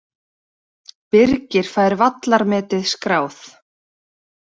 Birgir fær vallarmetið skráð